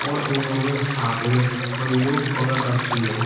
और उन्होंने हाथ में बंदूक पकड़ रखी है।